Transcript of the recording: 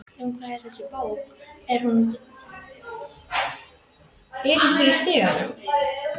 Um hvað er þessi bók, er hún um dulræn fyrirbæri?